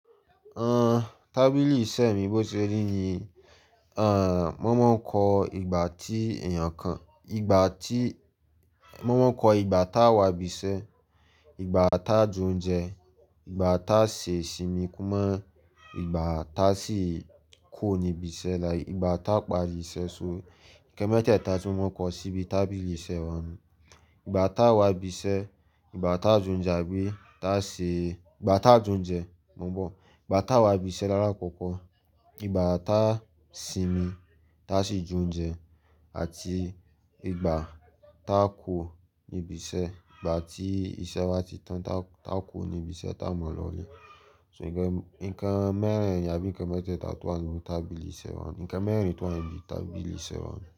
Àn, tábìlì iṣẹ́ mi bó ti ṣe rí ni, àn, mo máa ń kọ ìgbà tí èèyàn kan, ìgbà tí, mo máa ń kọ ìgbà tá wá bisẹ́, ìgbà tá jẹ óúnjẹ, ìgbà tá ṣe ìsinmi kúnmọ́, ìgbà tá sì kú ò níbi iṣẹ́, like ìgbà tá parí iṣẹ́, so nǹkan mẹ́tẹ̀ẹ̀ta tí mo máa ń kọ síbi tábìlì iṣẹ́ wa nù-un. Ìgbà tá wà bisẹ́, ìgbà tá jẹ oúnjẹ mò n bọ̀. Ìgbà tá sinmi, tá sì jẹ oúnjẹ àti ìgbà tá kúo níbi iṣẹ́, ìgbà tí iṣẹ́ wá ti tán tá kúo níbi iṣẹ́ tá mọ lọlé. So nǹkan mẹ́rẹ̀ẹ̀rin àbí nǹkan mẹ́tẹ̀ẹ̀ta tó wà nínú tábìlì iṣẹ́ wọn. Nǹkan mẹ́rin tó wà níbi tábìlì iṣẹ́ wa.